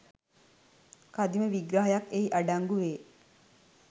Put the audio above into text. කදිම විග්‍රහයක් එහි අඩංගු වේ